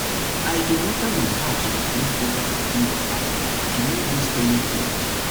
i dey water my herbs with leftover cooking water to no waste anything